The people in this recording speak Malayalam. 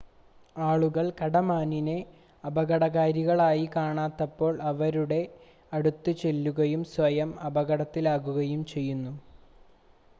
ആളുകൾ കടമാനിനെ അപകടകാരികളായി കാണാത്തപ്പോൾ അവയുടെ അടുത്തേക്ക് ചെല്ലുകയും സ്വയം അപകടത്തിലാക്കുകയും ചെയ്യുന്നു